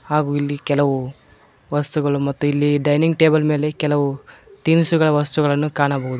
ಹಾಗು ಇಲ್ಲಿ ಕೆಲವು ವಸ್ತುಗಳು ಮತ್ತು ಇಲ್ಲಿ ಡೈನಿಂಗ್ ಟೇಬಲ್ ಮೇಲೆ ಕೆಲವು ತಿನಿಸುವ ವಸ್ತುಗಳನ್ನ ಕಾಣಬಹುದು.